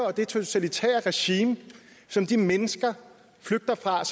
og det totalitære regime som de mennesker flygter fra og